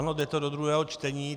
Ano, jde to do druhého čtení.